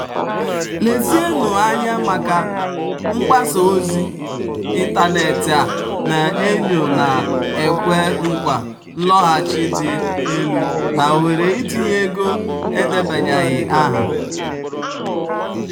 "lezienụ anya maka mgbasa ozi um ịntanetị a na-enyo na-ekwe nkwa nloghachi dị um elu na ohere itinye ego edebanyeghị aha."